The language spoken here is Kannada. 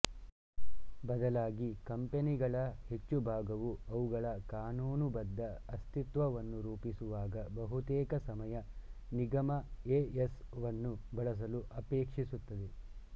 ಬದಲಾಗಿ ಕಂಪನಿಗಳ ಹೆಚ್ಚು ಭಾಗವು ಅವುಗಳ ಕಾನೂನುಬದ್ಧ ಅಸ್ತಿತ್ವವನ್ನು ರೂಪಿಸುವಾಗ ಬಹುತೇಕ ಸಮಯ ನಿಗಮಎ ಎಸ್ ವನ್ನು ಬಳಸಲು ಅಪೇಕ್ಷಿಸುತ್ತದೆ